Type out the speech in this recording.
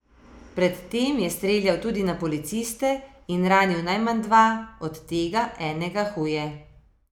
Pred tem je streljal tudi na policiste in ranil najmanj dva, od tega enega huje.